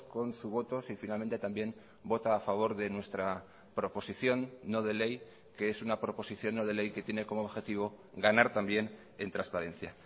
con su voto si finalmente también vota a favor de nuestra proposición no de ley que es una proposición no de ley que tiene como objetivo ganar también en transparencia